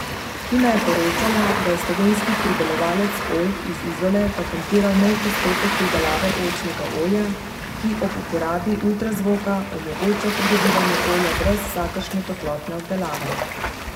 Hina je poročala, da je slovenski pridelovalec oljk iz Izole patentiral nov postopek pridelave oljčnega olja, ki ob uporabi ultrazvoka omogoča pridobivanje olja brez vsakršne toplotne obdelave.